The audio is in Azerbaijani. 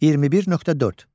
21.4.